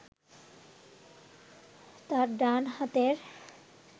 তাঁর ডান হাতের